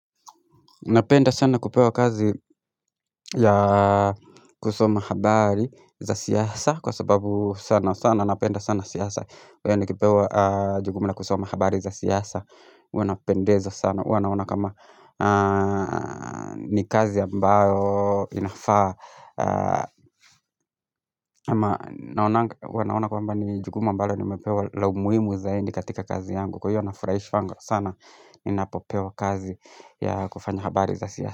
Napenda sana kupewa kazi ya kusoma habari za siasa kwa sababu sana sana napenda sana siasa. Kwa hiyo nikipewa jukumu la kusoma habari za siasa, huwa napendezwa sana, huwa naona kama ni kazi ambayo inafaa. Ama huwa naona kwamba ni jukumu ambalo nimepewa la umuimu zaidi katika kazi yangu. Kwa hiyo nafuraishwanga sana ninapopewa kazi ya kufanya habari za siasa.